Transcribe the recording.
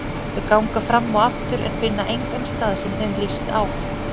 Þau ganga fram og aftur en finna engan stað sem þeim líst á.